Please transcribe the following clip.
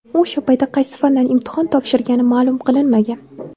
U o‘sha paytda qaysi fandan imtihon topshirgani ma’lum qilinmagan.